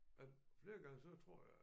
At flere gange så tror jeg